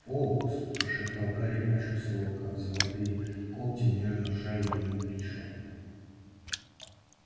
фоукс прошептал гарри и почувствовал как золотые когти нежно сжали ему плечо